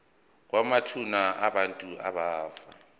kwamathuna abantu abafa